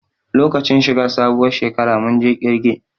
Lokacin shi ga sabuwar shekara mun je ƙirge